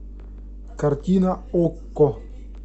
картина окко